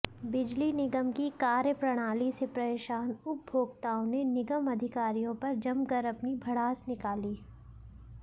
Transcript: बिजली निगम की कार्यप्रणाली से परेशान उपभोक्ताओं ने निगम अधिकारियों पर जमकर अपनी भड़ास निकाली